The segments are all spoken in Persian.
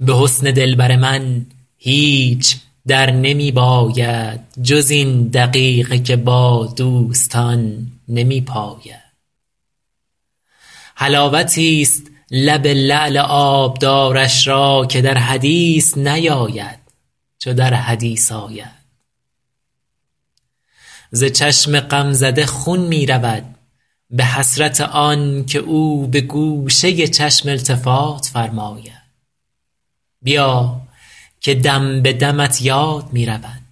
به حسن دلبر من هیچ در نمی باید جز این دقیقه که با دوستان نمی پاید حلاوتیست لب لعل آبدارش را که در حدیث نیاید چو در حدیث آید ز چشم غمزده خون می رود به حسرت آن که او به گوشه چشم التفات فرماید بیا که دم به دمت یاد می رود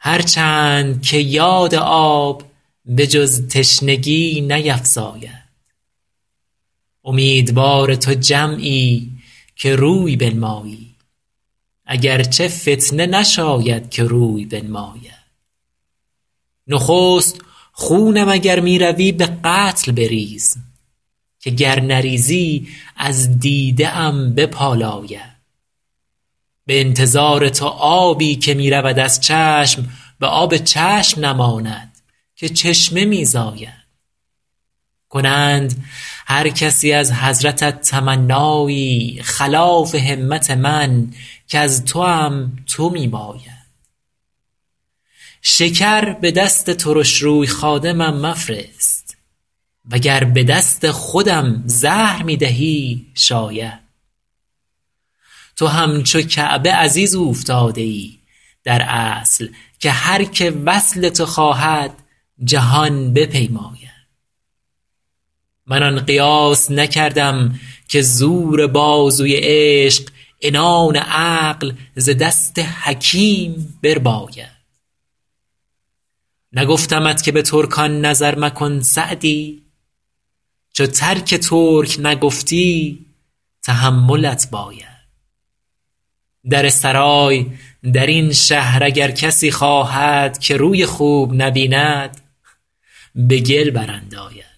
هر چند که یاد آب به جز تشنگی نیفزاید امیدوار تو جمعی که روی بنمایی اگر چه فتنه نشاید که روی بنماید نخست خونم اگر می روی به قتل بریز که گر نریزی از دیده ام بپالاید به انتظار تو آبی که می رود از چشم به آب چشم نماند که چشمه می زاید کنند هر کسی از حضرتت تمنایی خلاف همت من کز توام تو می باید شکر به دست ترش روی خادمم مفرست و گر به دست خودم زهر می دهی شاید تو همچو کعبه عزیز اوفتاده ای در اصل که هر که وصل تو خواهد جهان بپیماید من آن قیاس نکردم که زور بازوی عشق عنان عقل ز دست حکیم برباید نگفتمت که به ترکان نظر مکن سعدی چو ترک ترک نگفتی تحملت باید در سرای در این شهر اگر کسی خواهد که روی خوب نبیند به گل برانداید